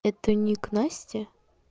это ник насти